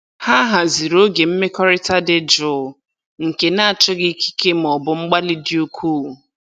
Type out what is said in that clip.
Ha haziri oge mmekọrịta dị jụụ nke na-achọghị ikike maọbụ mgbalị dị ukwuu.